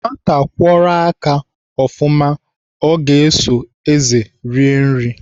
Nwata kwọrọ aka ofụma ga-eso ézè eri nri.